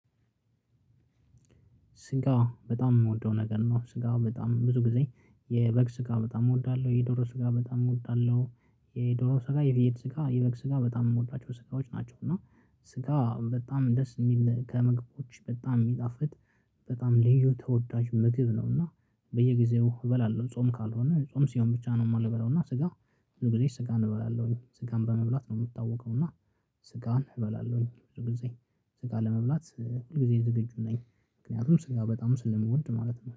ስጋ በጣም የምወደው ነገር ነው። ስጋ በጣም ብዙ ጊዜ የበግ ስጋ በጣም እወዳለሁ። የዶሮ ስጋ በጣም እወዳለሁ። የዶሮ ስጋ የብይድ ስጋ የበግ ስጋ በጣም የምወዳቸው ስጋዎች ናቸው። እና ስጋ በጣም ደስ የሚል ከምግቦች በጣም የሚጣፍጥ። በጣም ልዩ ተወዳጅ ምግብ ነው። እና በየጊዜው እበላለሁ ጾም ካልሆነ ጾም ሲሆን ብቻ ነው የማልበላው። እና ስጋ ሁል ጊዜ ስጋ እበላለው ስጋን በመብላት ነው የምታወቀው። እና ስጋን እበላለሁኝ። ብዙ ጊዜ ስጋ ለመብላት ሁል ጊዜ ዝግጁ ነኝ። ምክንያቱም ስራ በጣም ስለምወድ ማለት ነው